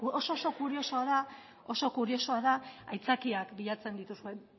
oso kuriosoa da aitzakiak bilatzen dituzue